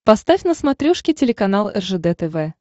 поставь на смотрешке телеканал ржд тв